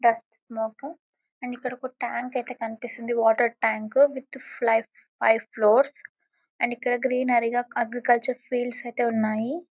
Dust smoke and ఇక్కడ tank ఐతే కనిపిస్తుంది water tank with five floor and ఇక్కడ గ్రీనరీ గ అగ్రికల్చర్ ఫెయిల్డ్ ఐతే ఉన్నాయి .